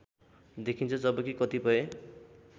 देखिन्छ जबकि कतिपय